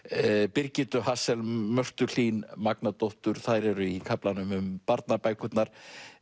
Birgittu Mörtu Hlín Magnadóttur þær eru í kaflanum um barnabækurnar